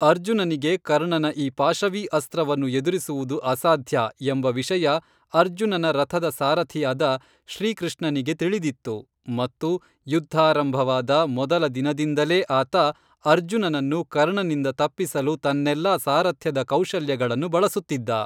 ಅರ್ಜುನನಿಗೆ ಕರ್ಣನ ಈ ಪಾಶವೀ ಅಸ್ತ್ರವನ್ನು ಎದುರಿಸುವುದು ಅಸಾಧ್ಯ, ಎಂಬ ವಿಷಯ ಅರ್ಜುನನ ರಥದ ಸಾರಥಿಯಾದ ಶ್ರೀಕೃಷ್ಣನಿಗೆ ತಿಳಿದಿತ್ತು ಮತ್ತು ಯುದ್ಧಾರಂಭವಾದ ಮೊದಲ ದಿನದಿಂದಲೇ ಆತ ಅರ್ಜುನನನ್ನು ಕರ್ಣನಿಂದ ತಪ್ಪಿಸಲು ತನ್ನೆಲ್ಲಾ ಸಾರಥ್ಯದ ಕೌಶಲ್ಯಗಳನ್ನು ಬಳಸುತ್ತಿದ್ದ